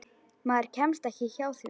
Maður kemst ekki hjá því.